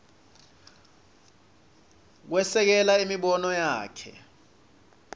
kwesekela imibono yakhe